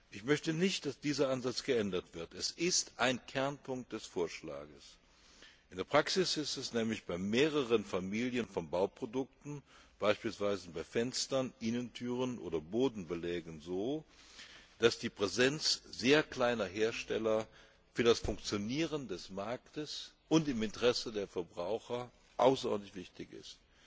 Ich möchte nicht, dass dieser Ansatz geändert wird er ist ein Kernpunkt des Vorschlags. In der Praxis ist es nämlich bei mehreren Familien von Bauprodukten beispielsweise bei Fenstern, Innentüren oder Bodenbelägen so, dass die Präsenz sehr kleiner Hersteller für das Funktionieren des Marktes und im Interesse der Verbraucher außerordentlich wichtig ist.